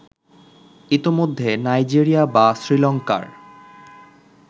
ইতোমধ্যে নাইজেরিয়া বা শ্রীলংকার